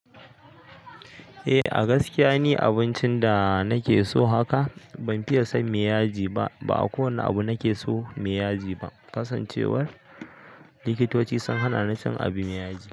Eh, a gaskiya ne abincin da nake so haka. Ban fiya son mai iyaji ba, ba a kowane abu nake so mai yaji ba. Kasancewar likitoci sun hana ni cin abin mai yagi.